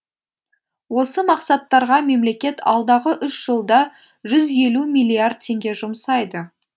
осы мақсаттарға мемлекет алдағы үш жылда жүз елу миллиард теңге жұмсайды